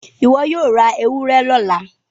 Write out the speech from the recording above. iwọ yóò rá ewúrẹ lọla